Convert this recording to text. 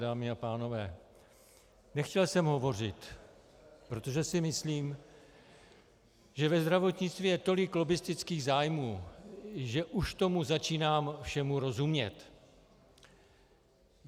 Dámy a pánové, nechtěl jsem hovořit, protože si myslím, že ve zdravotnictví je tolik lobbistických zájmů, že už tomu začínám všemu rozumět.